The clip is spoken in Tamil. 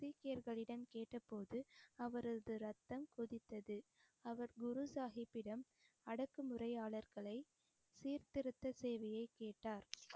சீக்கியர்களிடம் கேட்டபோது அவரது ரத்தம் கொதித்தது அவர் குரு சாஹிப்பிடம் அடக்கு முறையாளர்களை சீர்திருத்த சேவையை கேட்டார்